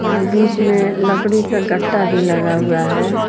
और बीच में लकड़ी का गट्टा भी लगा हुआ है।